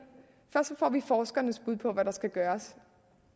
forskernes bud på hvad der skal gøres